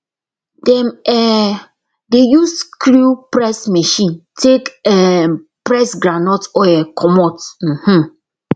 dem um dey use screw press machine take um press groundnut oil comot um